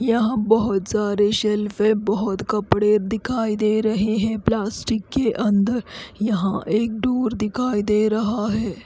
यहाँ बोहोत सारे शेल्फ है बोहोत कपडे दिखाई दे रहे है प्लास्टिक के अंदर यहाँ एक डोर दिखाई दे रहा है।